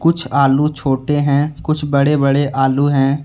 आलू छोटे हैं कुछ बड़े बड़े आलू हैं।